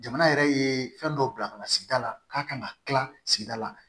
Jamana yɛrɛ ye fɛn dɔ bila ka na sigida la k'a ka na kila sigida la